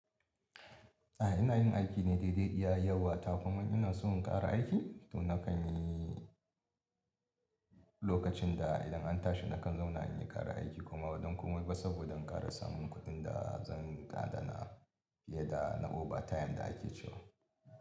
A ina yin aiki ne daidai iya yawa ta kuma ina so in ƙara aiki to na kan yi lokacin da idan an tashi na kan zauna in yi ƙara aiki kuma ba don komai ba saboda in ƙara samun kuɗin da zan gaɗa na fiye da na overtime da ake cewa.